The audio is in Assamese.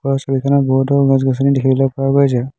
ওপৰৰ ছবিখনত বহুতো গছ গছনি দেখিবলৈ পোৱা গৈছে।